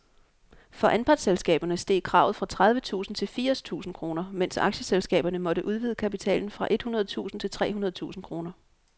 For anpartsselskaberne steg kravet fra tredive tusind til firs tusind kroner, mens aktieselskaberne måtte udvide kapitalen fra et hundrede tusind til tre hundrede tusind kroner.